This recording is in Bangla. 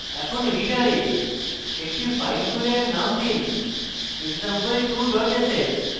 এখন editor একটি file খুলে এর name দিন example2 ডট sh